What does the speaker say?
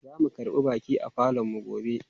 Zamu karbi baƙi a falonmu gobe.